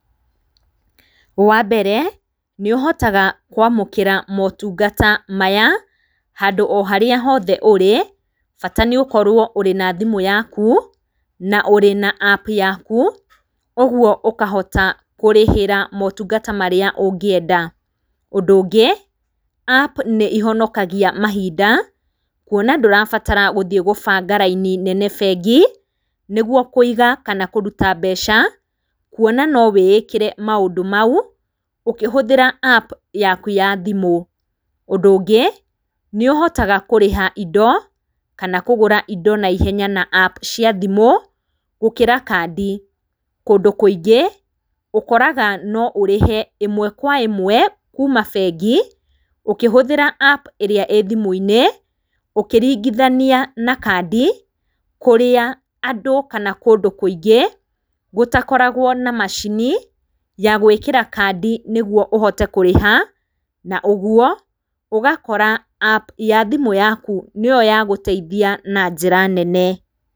Wa mbere nĩ ũhotaga kwamũkĩra motũngata maya handũ o harĩa hothe ũrĩ bata nĩ ũkorwo ũrĩ na thimũ yaku na ũrĩ na App yaku, ũgũo ũkahota kũrĩhĩra motũngata marĩa ũngienda. Ũndũ ũngĩ App nĩ ihonokagia mahinda kũona ndũrabatara guthiĩ gũbanga raini nene bengi nĩgũo kũiga kana kũrũta mbeca, kũona no wiĩkire maũndũ maũ ũkĩhũthĩra App yaku ya thimũ. Ũndũ ũngĩ nĩ uhotaga kũrĩha indo kana kũgũra indo naihenya na App cia thimũ gũkĩra kandi. Kũndũ kũingĩ ũkoraga no ũrĩhe imwe kwa imwe kuuma bengi ũkĩhũthĩra App irĩa irĩ thimũ-inĩ ũkĩringithania na kandi kũrĩa andũ kana kũndũ kũingĩ gũtakoragwo na macini ya gwĩkĩra kandi nĩgũo ũhote kũrĩha na ũguo ũgakora App ya thimũ yaku nĩyo ya gũteithĩa na njĩra nene .